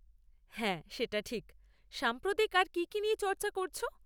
হ্যাঁ সেটা ঠিক, সাম্প্রতিক আর কী কী নিয়ে চর্চা করছ?